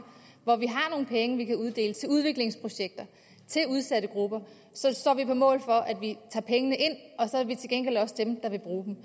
hvor vi har nogle penge vi kan uddele til udviklingsprojekter til udsatte grupper står vi på mål for at vi tager pengene ind og så er vi til gengæld også dem der vil bruge dem